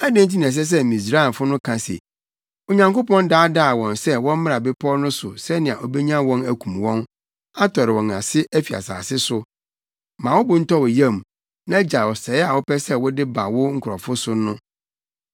Adɛn nti na ɛsɛ sɛ Misraimfo no ka se, ‘Onyankopɔn daadaa wɔn sɛ wɔmmra bepɔw no so sɛnea obenya wɔn akum wɔn, atɔre wɔn ase afi asase so?’ Ma wo bo ntɔ wo yam na gyae ɔsɛe a wopɛ sɛ wode ba wo nkurɔfo no so no.